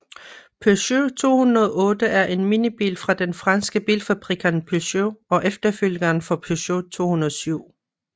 Peugeot 208 er en minibil fra den franske bilfabrikant Peugeot og efterfølgeren for Peugeot 207